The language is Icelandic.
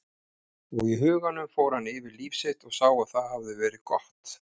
Og í huganum fór hann yfir líf sitt og sá að það hafði verið gott.